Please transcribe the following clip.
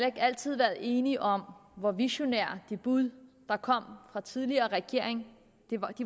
ikke altid været enige om hvor visionære og de bud der kom fra den tidligere regering